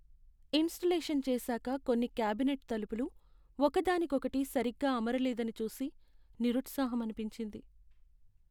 Installation చేసాక కొన్ని cabinet తలుపులు ఒక దానికొకటి సరిగ్గా అమరలేదని చూసి నిరుత్సాహమనిపించింది.